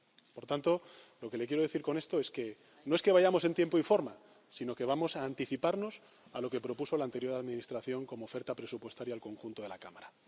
Por tanto, lo que le quiero decir con esto es que, no es que vayamos en tiempo y forma, sino que vamos a anticiparnos a lo que propuso la anterior administración como oferta presupuestaria al conjunto de la Cámara.